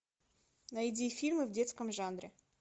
найди фильмы в детском жанре